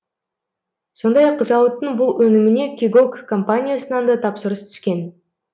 сондай ақ зауыттың бұл өніміне кегок компаниясынан да тапсырыс түскен